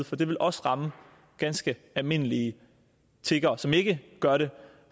for det vil også ramme ganske almindelige tiggere som ikke gør det